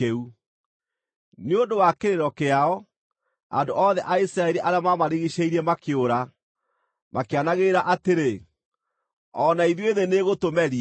Nĩ ũndũ wa kĩrĩro kĩao, andũ othe a Isiraeli arĩa maamarigiicĩirie makĩũra, makĩanagĩrĩra atĩrĩ, “O na ithuĩ thĩ nĩĩgũtũmeria!”